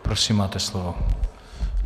Prosím, máte slovo.